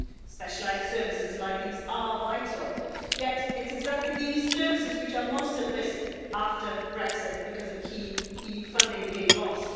Specialised services like these are vital, yet it's exactly these services which are most at risk after Brexit, because of key EU funding being lost.